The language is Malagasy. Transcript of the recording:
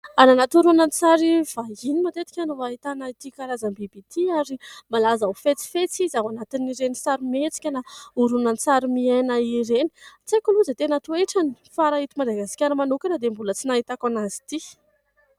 Any anaty horonantsary vahiny matetika no ahitana ity karazam-biby ity ary malaza ho fetsifetsy izy ao anatin'ireny sarimihetsika na horonantsary miaina ireny. Tsy aiko aloha izay tena toetrany fa raha eto Madagasikara manokana dia mbola tsy nahitako anazy ity.